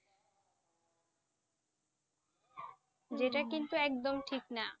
একদম ঠিক না